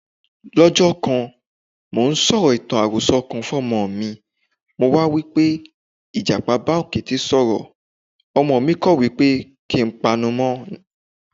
Lọ́jọ́kan, mò ńsọ̀rọ̀ ìtàn àròsọ kan fọ́'mọmi, mo wá wípé Ìjàpá bá Òkété sọ̀rọ̀, ọmọ mi kàn wípé kí npanumọ́